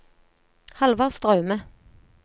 Halvard Straume